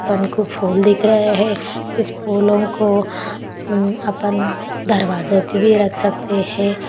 हमको फूल दिख रहे है ऑस फूलोंको आपण दरवाजों को भी रख सकते है।